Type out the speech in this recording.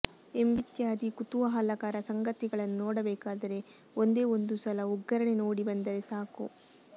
ಎಂಬಿತ್ಯಾದಿ ಕುತೂಹಲಕರ ಸಂಗತಿಗಳನ್ನು ನೋಡಬೇಕಾದರೆ ಒಂದೇ ಒಂದುಸಲ ಒಗ್ಗರಣೆ ನೋಡಿಬಂದರೆ ಸಾಕು